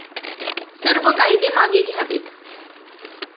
सर्व कायदे मागे घ्यावेत.